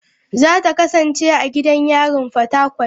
Za ta kasance a gidan yarin Fatakwal.u.